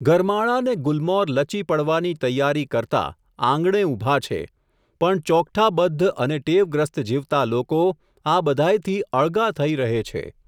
ગરમાળા ને ગુલમોર લચી પડવાની તૈયારી કરતા, આંગણે ઊભા છે, પણ ચોકઠાબદ્ધ અને ટેવગ્રસ્ત જીવતા લોકો, આ બધાયથી અળગા થઈ રહે છે.